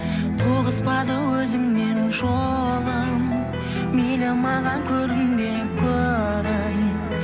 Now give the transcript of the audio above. тоғыспады өзіңмен жолым мейлі маған көрінбе көрін